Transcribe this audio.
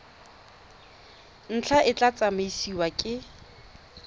ntlha e tla tsamaisiwa ke